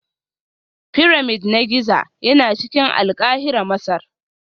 Pyramid na Giza yana cikin Alkahira Masar